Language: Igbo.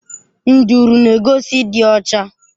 Nduru n'egosi ịdị ọcha.